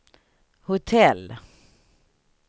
hotell